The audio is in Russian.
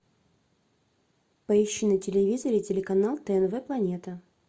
поищи на телевизоре телеканал тнв планета